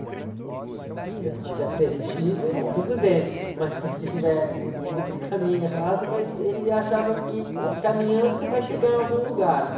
Eu falei, é, se você não estiver perdido, tudo bem, mas se você estiver indo para o caminho errado, mas ele achava que caminhando você vai chegar em algum lugar, né?